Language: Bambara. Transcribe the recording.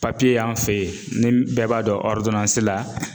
y'an fe ye ni bɛɛ b'a dɔn la